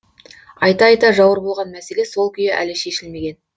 айта айта жауыр болған мәселе сол күйі әлі шешілмеген